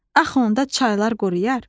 Axı onda çaylar quruyar.